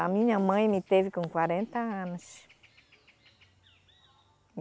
A minha mãe me teve com quarenta anos.